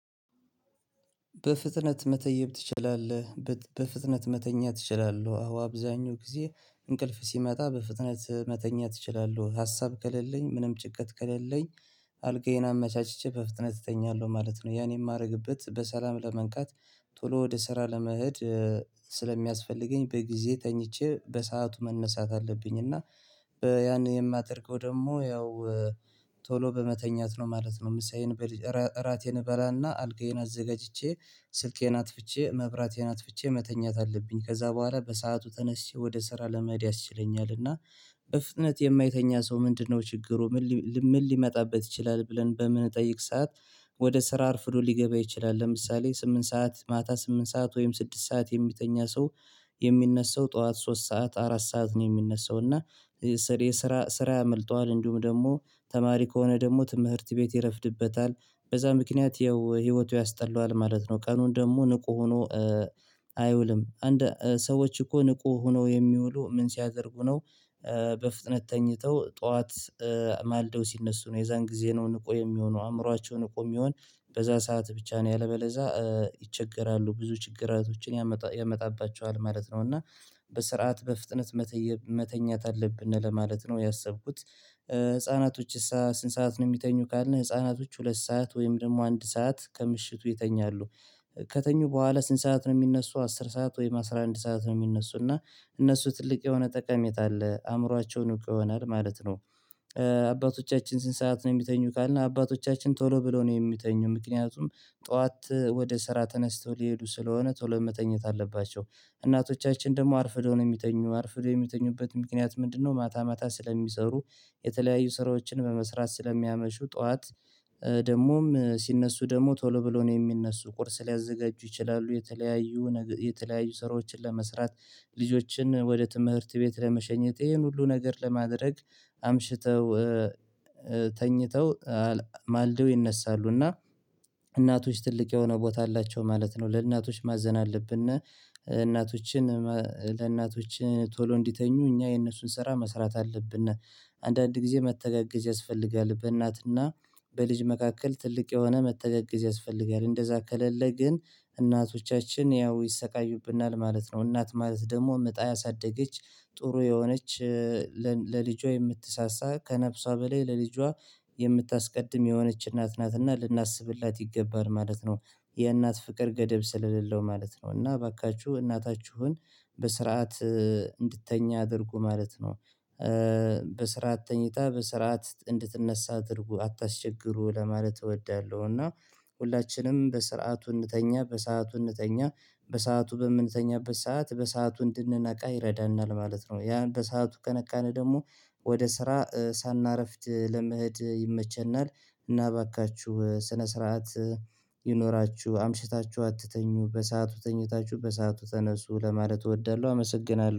በፍጥነት መተየብ ትችላለህ? በፍጥነት መተኛ ትችላለው። አዎ፣ አብዛኛው ጊዜ እንቅልፍ ሲመጣ በፍጥነት መተኛት እችላለሁ። ሀሳብ ከሌለኝ፣ ምንም ጭቀት ከሌለኝ አልጋዬን አመቻችቼ በፍጥነት እተኛለሁ ማለት ነው። ያን የማደርግበት በሰላም ለመንቃት፣ ቶሎ ወደ ስራ ለመሄድ ስለሚያስፈልገኝ በጊዜ ተኝቼ በሰአቱ መነሳት አለብኝ። እና ያን የማደርገው ደግሞ ያው ቶሎ በመተኛት ነው ማለት ነው። ምሳዬን በል፣ እራ፣ እራቴን እበላና አልጋዬን አዘጋጅቼ፣ ስልኬን አጥፍቼ፣ መብራቴን አጥፍቼ መተኛት አለብኝ። ከዛ በኋላ በሰአቱ ተነስቼ ወደ ስራ ለመድያ ይችለኛል። እና እፍጥነት የማይተኛ ሰው ምንድነው ችግሩ? ምን ሊመጣበት ይችላል? ብለን በምንጠይቅ ሰዓት ወደ ስራ አርፍዶ ሊገባ ይችላል። ለምሳሌ ስምንት ሰዓት፣ ማታ ስምንት ሰዓት ወይም ስድስት ሰዓት የሚተኛ ሰው የሚነሳው ጠዋት ሶስት ሰዓት፣ አራት ሰዓት ነው የሚነሳው እና ስር፣ ስራ፣ ስራ ያመልጠዋል። እንዲሁም ደግሞ ተማሪ ከሆነ ደግሞ ትምህርት ቤት ይረፍድበታል። በዛ ምክንያት ያው ህይወቱ ያስጠላዋል ማለት ነው። ቀኑን ደግሞ ንቁ ሆኖ አይውልም ሰዎችኮ ንቁ ሆኖ የሚውሉ ምን ሲያደርጉ ነው? በፍጥነት ተኝተው ጠዋት ማልደው ሲነሱ ነው። የዛን ጊዜ ነው ንቆ የሚሆነው፣ አእምሯቸውን ንቁ የሚሆን በዛ ሰዓት ብቻ ነው። ያለምበለዛ ይቸገራሉ፣ ብዙ ችግራቶችን ያመጣባቸዋል ማለት ነው እና በስርዓት፣ በፍጥነት መተየብ፣ መተኛት አለብን ለማለት ነው ያሰብኩት። ህፃናቶች ስንት ሰዓት ነው የሚተኙ ካልን? ህፃናቶች ሁለት ሰዓት ወይም ደግሞ አንድ ሰዓት ከምሽቱ ይተኛሉ። ከተኙ በኋላ ስንት ሰዓት ነው የሚነሱ? አስር ሰዓት ወይም አስራ አንድ ሰዓት ነው የሚነሱ እና እነሱ ትልቅ የሆነ ጠቀሜታ አለ። አእምሮአቸውን ንቁ ይሆናል ማለት ነው። አባቶቻችን ስንት ሰዓት ነው የሚተኙ ካልን? አባቶቻችን ቶሎ ብለው ነው የሚተኙ፣ ምክንያቱም ጠዋት ወደ ስራ ተነስተው ሊሄዱ ስለሆነ ቶሎ መተኛት አለባቸው። እናቶቻችን ደግሞ አርፍዶ ነው የሚተኙ፣ አርፍዶ የሚተኙበት ምክንያት ምንድነው? ማታ ማታ ስለሚሰሩ፣ የተለያዩ ስራዎችን በመስራት ስለሚያመሹ ጠዋት ደግሞም ሲነሱ ደግሞ ቶሎ ብሎ ነው የሚነሱ፣ ቁርስ ሊያዘጋጁ ይችላሉ። የተለያዩ፣ የተለያዩ ስራዎችን ለመስራት፣ ልጆችን ወደ ትምህርት ቤት ለመሸኘት ይሄን ሁሉ ነገር ለማድረግ አምሽተው ተኝተው ማልደው ይነሳሉ። እና እናቶች ትልቅ የሆነ ቦታ አላቸው ማለት ነው፣ ለእናቶች ማዘን አለብን። እናቶችን፣ ለእናቶች ቶሎ እንዲተኙ እኛ የእነሱን ስራ መስራት አለብን። አንዳንድ ጊዜ መተጋገዝ ያስፈልጋል በእናትና በልጅ መካከል ትልቅ የሆነ መተጋገዝ ያስፈልጋል። እንደዛ ከሌለ ግን እናቶቻችን ያው ይሰቃዩብናል ማለት ነው። እናት ማለት ደግሞ አምጣ ያሳደገች ጥሩ የሆነች ለልጇ የምትሳሳ፣ ከነፍሷ በላይ ለልጇ የምታስቀድም የሆነች እናት ናትና ልናስብላት ይገባል ማለት ነው። የእናት ፍቅር ገደብ ስለሌለው ማለት ነው እና እባካችሁ እናታችሁን በስርዓት እንድትተኛ አድርጉ ማለት ነው። በስርዓት ተኝታ በስርዓት እንድትነሳ አድርጉ፣ አታስቸግሩ ለማለት እወዳለሁ። እና ሁላችንም በስርዓቱ እንተኛ፣ በሰአቱ እንተኛ። በሰአቱ በምንተኛበት ሰዓት በሰአቱ እንድንነቃ ይረዳናል ማለት ነው። ያን በሰአቱ ከነቃን ደግሞ ወደ ስራ ሳናረፍድ ለመሄድ ይመቸናል። እና እባካችሁ ስነ ስርዓት ይኖራችሁ፣ አምሽታችሁ አትተኙ፣ በሰአቱ ተኝታችሁ በሰአቱ ተነሱ ለማለት እወዳለሁ። አመሰግናለሁ።